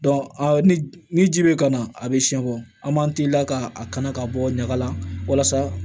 ni ni ji bɛ kana a bɛ siɲɛ bɔ an b'an t'i la ka a kana ka bɔ ɲaga la walasa